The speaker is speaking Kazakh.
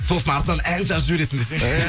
сосын артынан ән жазып жібересің десеңші